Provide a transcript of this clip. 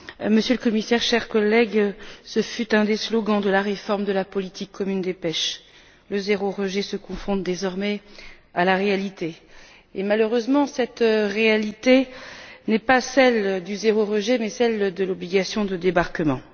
Monsieur le Commissaire, chers collègues, le zéro rejet fut un slogan de la réforme de la politique commune de la pêche, qui se confronte, désormais, à la réalité. Et, malheureusement, cette réalité n'est pas celle du zéro rejet mais celle de l'obligation de débarquement.